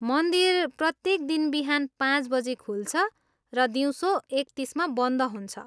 मन्दिर प्रत्येक दिन बिहान पाँच बजी खुल्छ र दिउँसो एक तिसमा बन्द हुन्छ।